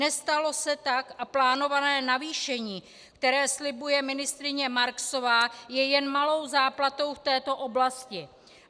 Nestalo se tak a plánované navýšení, které slibuje ministryně Marksová, je jen malou záplatou v této oblasti.